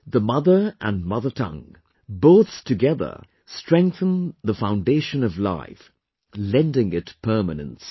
The mother and mother tongue, both together strengthen the foundation of life; lending it permanence